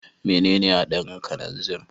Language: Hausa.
Menene hadarin kananzir?